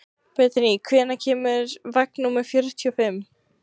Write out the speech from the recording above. Bentey, hvenær kemur vagn númer fjörutíu og fimm?